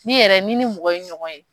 Ne yɛrɛ ni ni mɔgɔ ye ɲɔgɔn ye.